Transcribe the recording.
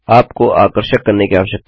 आपको आकर्षक करने की आवश्यकता है